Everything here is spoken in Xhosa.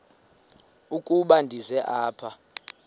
ukuba ndize apha